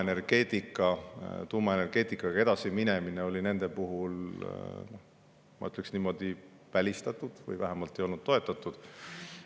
Seetõttu oli tuumaenergeetikaga edasi minemine nende puhul, ma ütleks niimoodi, välistatud või vähemalt ei olnud see toetatud.